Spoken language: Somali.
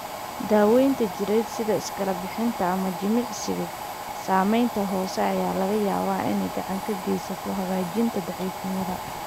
Daaweynta jireed, sida iskala-bixinta ama jimicsiga saameynta hoose, ayaa laga yaabaa inay gacan ka geysato hagaajinta daciifnimada.